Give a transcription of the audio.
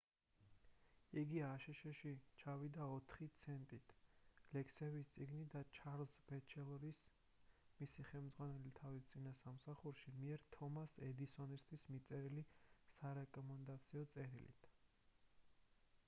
იგი აშშ-ში ჩამოვიდა 4 ცენტით ლექსების წიგნით და ჩარლზ ბეჩელორის მისი ხელმძღვანელი თავის წინა სამსახურში მიერ თომას ედისონისთვის მიწერილი სარეკომენდაციო წერილით